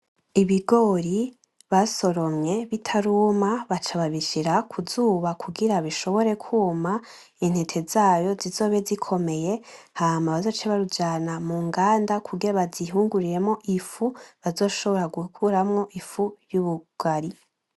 Ibigori basoromye bitaruma baca babishira kuzuba kugira bishobore kuma intete zavyo zizobe zikomeye hama bazoce babijana mwihinguriro kugira bazihungururemwo intete bazoshobora gukuramwo ifu y'ubugari.